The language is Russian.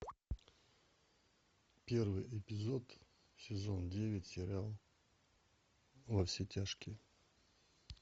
первый эпизод сезон девять сериал во все тяжкие